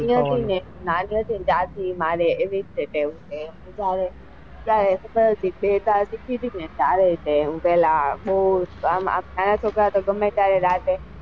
અહિયાં છે ને એવી જ છે ટેવ નાના છોકરા તો ગમે ત્યારે રાતે,